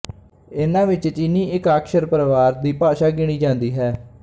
ਇਹਨਾਂ ਵਿੱਚ ਚੀਨੀ ਏਕਾਕਸ਼ਰ ਪਰਵਾਰ ਦੀ ਭਾਸ਼ਾ ਗਿਣੀ ਜਾਂਦੀ ਹੈ